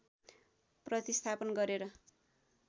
प्रतिस्थापन गरेर